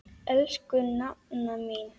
Elsku nafna mín.